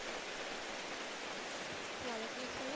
ওয়ালাইকুমুস-সালাম।